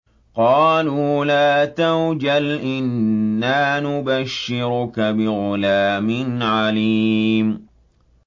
قَالُوا لَا تَوْجَلْ إِنَّا نُبَشِّرُكَ بِغُلَامٍ عَلِيمٍ